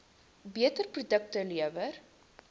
beter produkte lewer